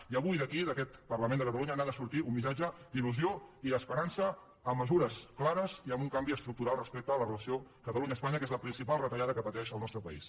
i avui d’aquí d’aquest parlament de catalunya n’ha de sortir un missatge d’ilclares i amb un canvi estructural respecte a la relació catalunya espanya que és la principal retallada que pateix el nostre país